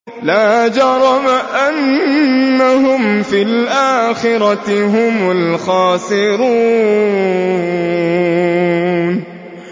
لَا جَرَمَ أَنَّهُمْ فِي الْآخِرَةِ هُمُ الْخَاسِرُونَ